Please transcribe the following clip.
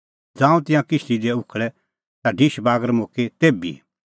ज़ांऊं तिंयां किश्ती दी उखल़ै ता ढिश बागर मुक्की तेभी